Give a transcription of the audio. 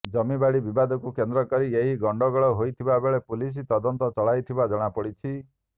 ଜମିବାଡ଼ି ବିବାଦକୁ କେନ୍ଦ୍ରକରି ଏହି ଗଣ୍ଡଗୋଳ ହୋଇଥିବାବେଳେ ପୁଲିସ ତଦନ୍ତ ଚଳାଇଥିବା ଜଣାପଡ଼ିଛି